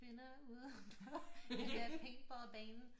Men jeg siger dig når der er 10 kvinder ude på den der paintballbane